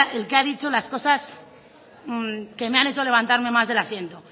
el que ha dicho las cosas que me han hecho levantarme más del asiento